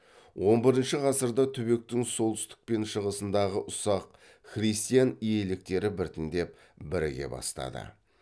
он бірінші ғасырда түбектің солтүстік мен шығысындағы ұсақ христиан иеліктері біртіндеп біріге бастады